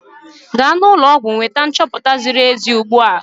Gaa n'ụlọ ọgwụ wee nweta nchoputa ziri ezi ugbu a!